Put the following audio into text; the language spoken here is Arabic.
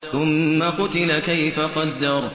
ثُمَّ قُتِلَ كَيْفَ قَدَّرَ